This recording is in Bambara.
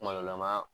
Kuma dɔ la an b'a